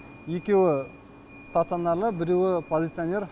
екеуі стационарлы біреуі полиционер